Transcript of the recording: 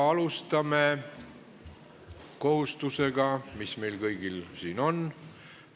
Alustame kohustusega, mis meil kõigil siin on.